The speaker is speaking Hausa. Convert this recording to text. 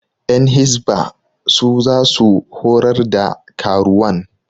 Ƴan hisba su za su horar da karuwan